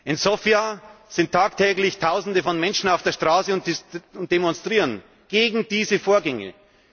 In Sofia sind tagtäglich Tausende von Menschen auf der Straße und demonstrieren gegen diese Vorgänge.